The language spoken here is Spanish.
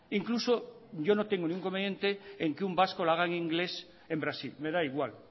incluso yo no tengo ningún inconveniente en que un vasco lo haga en inglés en brasil me da igual